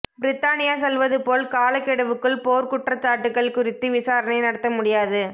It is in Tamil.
பிரித்தானியா சொல்வது போல் காலகெடுவுக்குள் போர்க்குற்றச்சாட்டுகள் குறித்து விசாரணை நடத்த முடியாது